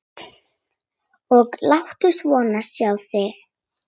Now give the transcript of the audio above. Og láttu svo sjá þig.